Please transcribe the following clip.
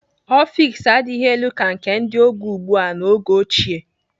Ọfiks adịghị elu ka ndị oge ugbu a n'oge ochie.